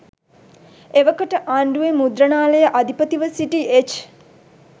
එවකට ආණ්ඩුවේ මුද්‍රණාලයේ අධිපතිව සිටි එච්.